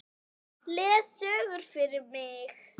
Les sögur fyrir mig.